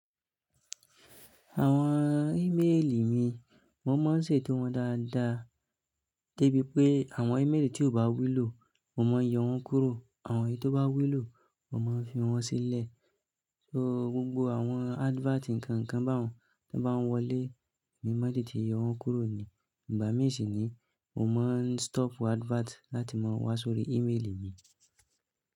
Àwọn ímélì mi, mo máa ń ṣe tó wọn dáadáa, débi pé àwọn ímélì tí ó bá wúlò, mo máa ń yọ wọ́n kúrò. Àwọn èyí tó bá wúlò, mo máa ń fi wọ́n sílẹ̀. So gbogbo àwọn advert nǹkan kan bá wọn, tí wọ́n bá ń wọlé, èmi máa dè tíì yọ wọ́n kúrò ni. Ìgbà mí sì ni, mo máa ń stop advert láti máa wá sórí ímélì mi.